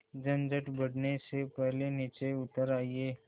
झंझट बढ़ने से पहले नीचे उतर आइए